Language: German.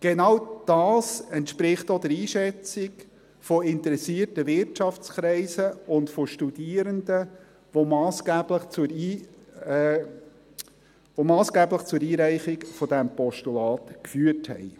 Genau das entspricht auch der Einschätzung von interessierten Wirtschaftskreisen und von Studierenden, die massgeblich zur Einreichung dieses Postulats geführt hat.